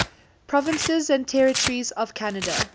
provinces and territories of canada